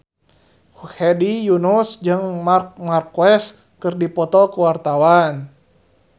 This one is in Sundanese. Hedi Yunus jeung Marc Marquez keur dipoto ku wartawan